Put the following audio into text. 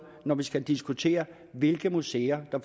når vi skal diskutere hvilke museer der